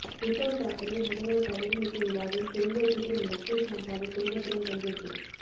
உத்தவ் தாக்கரே முதல்வர் பதவியேற்பு விழாவில் தொழிலதிபர் முகேஷ் அம்பானி குடும்பத்துடன் பங்கேற்பு